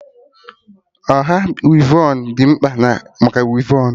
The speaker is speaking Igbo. Ọha wivon dị mkpa maka wivon gị